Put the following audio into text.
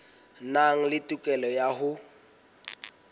nang le tokelo ya ho